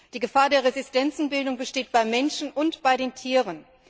Die Gefahr der Resistenzenbildung besteht beim Menschen und bei den Tieren.